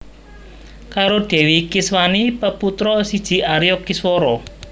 Karo Dèwi Kiswani peputra siji Arya Kiswara